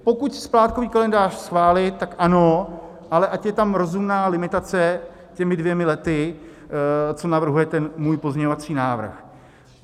Pokud splátkový kalendář schválit, tak ano, ale ať je tam rozumná limitace těmi dvěma lety, co navrhuje ten můj pozměňovací návrh.